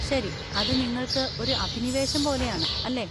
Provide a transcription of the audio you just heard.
ശരി, അത് നിങ്ങൾക്ക് ഒരു അഭിനിവേശം പോലെയാണ്, അല്ലേ?